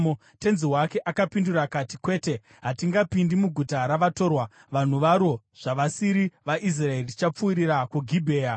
Tenzi wake akapindura akati, “Kwete. Hatingapindi muguta ravatorwa, vanhu varo zvavasiri vaIsraeri. Tichapfuurira kuGibhea.”